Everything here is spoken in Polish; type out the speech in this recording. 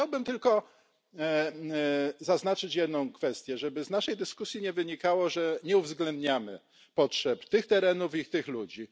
Chciałbym tylko zaznaczyć jedną kwestię, żeby z naszej dyskusji nie wynikało, że nie uwzględniamy potrzeb tych terenów i tych ludzi.